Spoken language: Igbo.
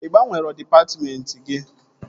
Ị gbanwere dịpatmentị gị?